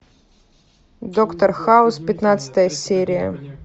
доктор хаус пятнадцатая серия